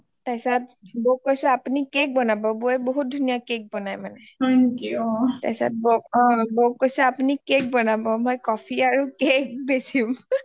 বৌক কৈছোঁ আপুনি cake বনাব বৌয়ে বহুত ধুনীয়া cake বনায় মানে অ তাৰপিছত বৌক কৈছোঁ আপুনি cake বনাব মৈ coffee আৰু cake বেচিম